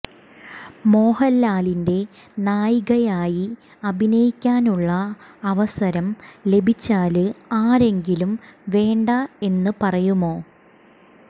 മോഹന്ലാലിന്റെ നായികയായി അഭിനയിക്കാനുള്ള അവസരം ലഭിച്ചാല് ആരെങ്കിലും വേണ്ട എന്ന് പറയുമോ